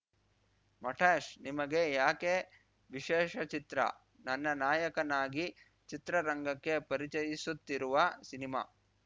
ಮಟಾಶ್‌ ನಿಮಗೆ ಯಾಕೆ ವಿಶೇಷ ಚಿತ್ರ ನನ್ನ ನಾಯಕನಾಗಿ ಚಿತ್ರರಂಗಕ್ಕೆ ಪರಿಚಯಿಸುತ್ತಿರುವ ಸಿನಿಮಾ